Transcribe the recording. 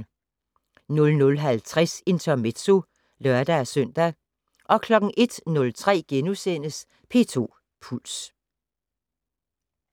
00:50: Intermezzo (lør-søn) 01:03: P2 Puls *